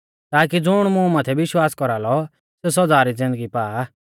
ताकी ज़ुण मुं माथै विश्वास कौरालौ सेऊ सौदा री ज़िन्दगी पा